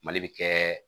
Mali bɛ kɛ